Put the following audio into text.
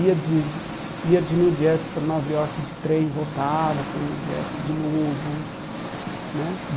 Ia de de ia de New Jersey para Nova Iorque de trem, voltava para New Jersey de novo né.